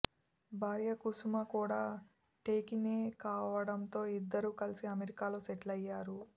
భార్య కుసుమ కూడా టెకీనే కావడంతో ఇద్దరూ కలిసి అమెరికాలో సెటిలయ్యారు